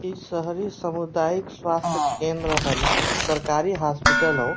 ई शहरी सामुदायिक स्वास्थ केंद्र होला। ई सरकारी हास्पिटल हओ।